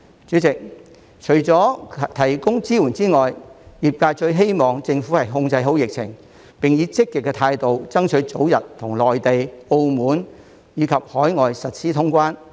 主席，除了提供支援之外，業界最希望政府控制好疫情，並以積極的態度，爭取早日與內地、澳門及海外通關。